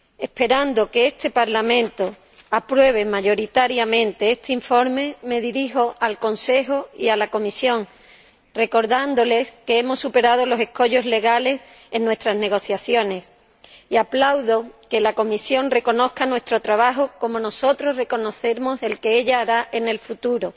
Esperando que este Parlamento apruebe mayoritariamente este informe, me dirijo al Consejo y a la Comisión, recordándoles que hemos superado los escollos legales en nuestras negociaciones, y aplaudo que la Comisión reconozca nuestro trabajo, como nosotros reconocemos el que ella hará en el futuro.